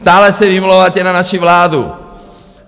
Stále se vymlouváte na naši vládu.